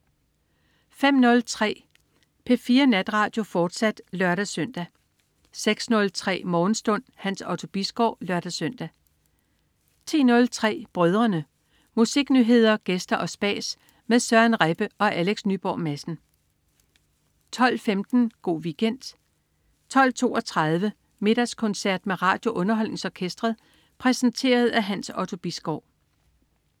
05.03 P4 Natradio, fortsat (lør-søn) 06.03 Morgenstund. Hans Otto Bisgaard (lør-søn) 10.03 Brødrene. Musiknyheder, gæster og spas med Søren Rebbe og Alex Nyborg Madsen 12.15 Go' Weekend 12.32 Middagskoncert med RadioUnderholdningsOrkestret. Præsenteret af Hans Otto Bisgaard